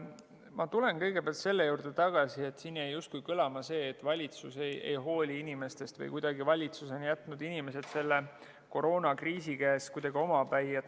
Ma tulen kõigepealt selle juurde tagasi, et siin jäi justkui kõlama see, et valitsus ei hooli inimestest või valitsus on jätnud inimesed selle koroonakriisi käes kuidagi omapäi.